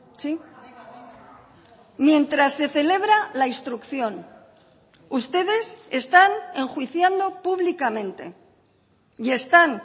sí mientras se celebra la instrucción ustedes están enjuiciando públicamente y están